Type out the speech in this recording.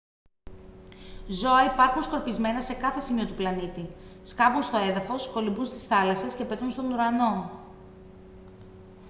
ζώα υπάρχουν σκορπισμένα σε κάθε σημείο του πλανήτη σκάβουν στο έδαφος κολυμπούν στις θάλασσες και πετούν στον ουρανό